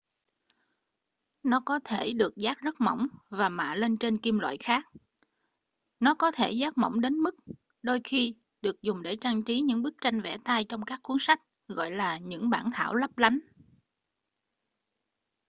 nó có thể được dát rất mỏng và mạ lên trên kim loại khác nó có thể dát mỏng đến mức đôi khi được dùng để trang trí những bức tranh vẽ tay trong các cuốn sách gọi là những bản thảo lấp lánh